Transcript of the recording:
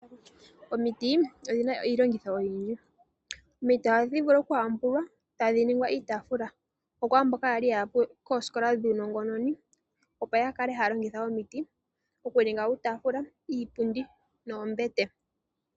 Omiti odhina iilongitho Oyindji, Omiti oha dhi vulu okuhambulwa tadhi ningwa iitafula okwa mboka yali yaya koskola dhuunongononi opo ya kale haya longitha omiti okuninga uutafula, iipundi noombete.